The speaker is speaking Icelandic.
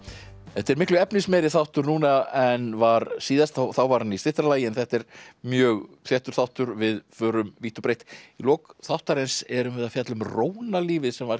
þetta er miklu efnismeiri þáttur núna en var síðast þá var hann í styttra lagi en þetta er mjög þéttur þáttur við förum vítt og breitt í lok þáttarins erum við að fjalla um rónalífið sem var